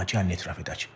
Amma gəlin etiraf edək.